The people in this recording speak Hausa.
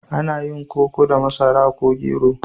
Ana yin koko da masara ko gero.